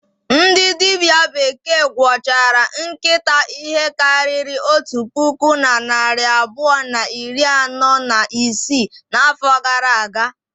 Ndị dibịa bekee gwọchara nkịta ihe karịrị otu puku na narị abụọ na iri anọ na isii n'afọ gara aga.